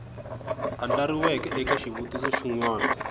andlariweke eka xivutiso xin wana